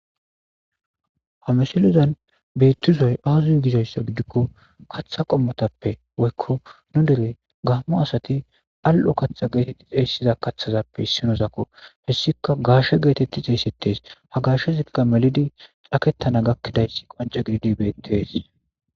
Ha misilezan beetizay aaze gizayssa gidiko kaththa qommotappe woyko nu dere gaamo asati al'o kaththa geeteti xeysizaytappe issinozakko hesika gaashe geetetti xeysetees ha gaashezika melidi caketana gakidayssi qoncce gididi beetes.